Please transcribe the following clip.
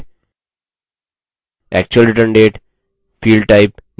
actual return date field type date